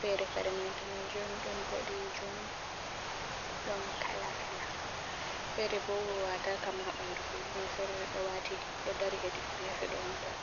feere kare may daneejum, ɗon boɗeejum ɗon kala kala, feere bo waataaka ma haa ɓanndu bee feere ɗo waati ɗo dari hedi geefe ɗo on tan.